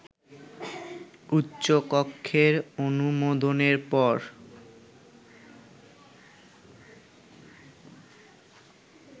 উচ্চকক্ষের অনুমোদনের পর